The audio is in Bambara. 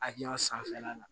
Akilina sanfɛla la